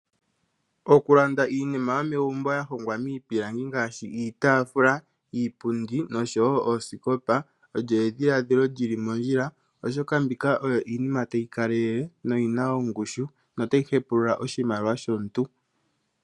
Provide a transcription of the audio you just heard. Okulanda iinima yomegumbo ya hongwa miipilangi ngaashi osikopa, iitafula, oshowo iipundi olyo edhiladhilo ewanawa oshoka iinima mbika otayi kalele noyina ongushu.